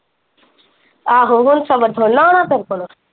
ਆਹੋ ਹੁਣ ਸਬਰ ਥੋੜੀ ਨਾ ਹੋਣਾ ਤੇਰੇ ਕੋਲੋ।